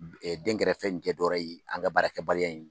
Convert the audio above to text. Dɛnkɛrɛfɛ in dɔwɛrɛ ye an ka baarakɛbaliya in